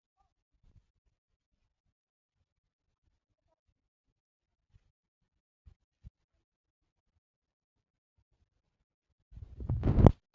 van wey we dey protect im idenetity na anoda victim of trafficking for uk and dem bin also force am to work for cannabis farm